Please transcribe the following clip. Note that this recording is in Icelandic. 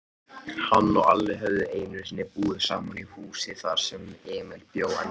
Hann og Alli höfðu einusinni búið í sama húsi, þar sem Emil bjó ennþá.